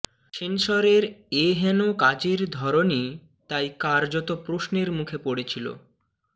সেন্সরের এহেন কাজের ধরনই তাই কার্যত প্রশ্নের মুখে পড়েছিল